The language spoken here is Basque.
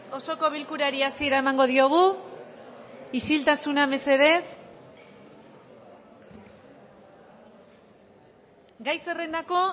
osoko bilkurari hasiera emango diogu isiltasuna mesedez gai zerrendako